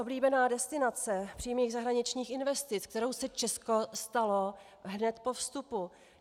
Oblíbená destinace přímých zahraničních investic, kterou se Česko stalo hned po vstupu.